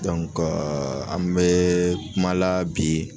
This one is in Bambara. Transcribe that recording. an bɛ kumala bi